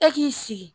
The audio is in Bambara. E k'i sigi